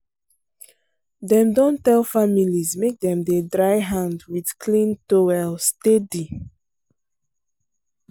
dem don tell families make dem dey dry hand with clean towel steady.